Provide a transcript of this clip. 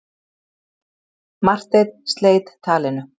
Marteinn sleit talinu.